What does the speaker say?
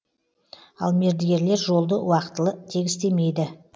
ал мердігерлер жолды уақытылы тегістемейді